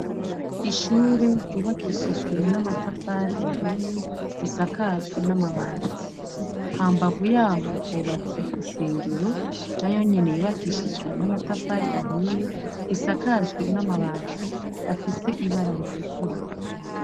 Ishure ryubakishijwe n'amatafari ahiye risakajwe n'amabati. Hambavu y'aho, hubatse isengero, nayo nyene yubakishijwe n'amatafari ahiye, isakajwe n'amabati afise ibara ritukura.